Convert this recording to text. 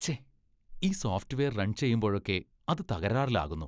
ഛെ, ഈ software run ചെയ്യുമ്പോഴൊക്കെ അത് തകരാറിലാകുന്നു.